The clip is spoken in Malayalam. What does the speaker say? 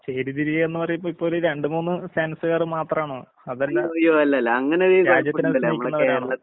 ചേരിതിരിയയെന്ന് പറയുമ്പോ ഇപ്പൊരു രണ്ട് മൂന്ന് ഫാൻസ്‌കാര് മാത്രാണോ? അതല്ലാ രാജ്യത്തിനകത്ത് നിക്കണവരാണോ?